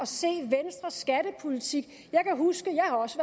se venstres skattepolitik jeg kan huske